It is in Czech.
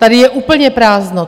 Tady je úplně prázdno.